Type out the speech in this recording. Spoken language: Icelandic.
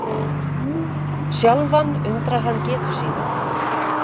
Sjálfan undrar hann getu sína.